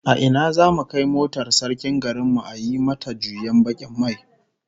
A ina zamu kai motar sarkin garin mu a yi mata juyen bakin mai?